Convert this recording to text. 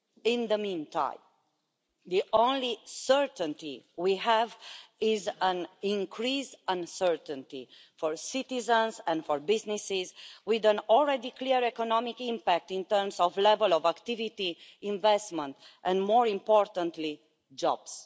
In the meantime, the only certainty we have is increased uncertainty for citizens and for businesses, with a clear economic impact in terms of levels of activity, investment and, more importantly, jobs.